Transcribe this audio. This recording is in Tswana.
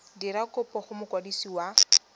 dira kopo go mokwadisi wa